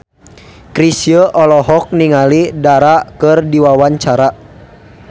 Chrisye olohok ningali Dara keur diwawancara